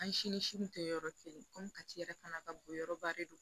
An si ni si kun tɛ yɔrɔ kelen komi kati yɛrɛ fana ka bon yɔrɔba de don